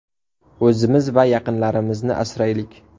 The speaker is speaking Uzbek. O‘zimiz va yaqinlarimizni asraylik!